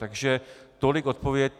Takže tolik odpověď.